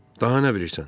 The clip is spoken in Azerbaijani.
Daha nə bilirsən?